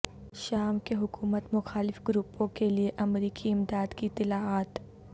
شام کے حکومت مخالف گروپوں کے لیے امریکی امداد کی اطلاعات